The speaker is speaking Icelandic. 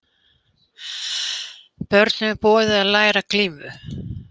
Börnum boðið að læra glímu